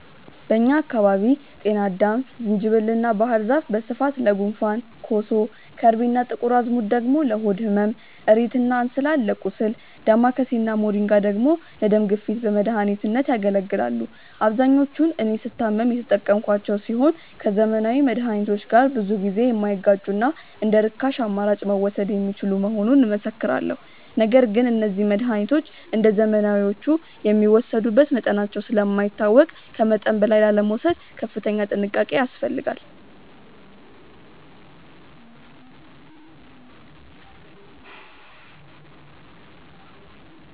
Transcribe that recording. በእኛ አካባቢ ጤናአዳም፣ ዝንጅብል እና ባህር ዛፍ በስፋት ለጉንፋን፣ ኮሶ፣ ከርቤ እና ጥቁር አዝሙድ ደግሞ ለሆድ ህመም፣ እሬት እና እንስላል ለቁስል፣ ዳማከሴ እና ሞሪንጋ ደግሞ ለደም ግፊት በመድኃኒትነት ያገለግላሉ። አብዛኞቹን እኔ ስታመም የተጠቀምኳቸው ሲሆን ከዘመናዊ መድሃኒቶች ጋር ብዙ ጊዜ የማይጋጩና እንደርካሽ አማራጭ መወሰድ የሚችሉ እንደሆኑ እመሰክራለሁ። ነገር ግን እነዚህ መድሃኒቶች እንደዘመናዊዎቹ የሚወሰዱበት መጠናቸው ስለማይታወቅ ከመጠን በላይ ላለመውሰድ ከፍተኛ ጥንቃቄ ያስፈልጋል።